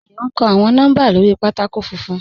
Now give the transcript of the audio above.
Àyọ̀ n kọ́ awọn nọ́mbà lórí pátákò fúnfún.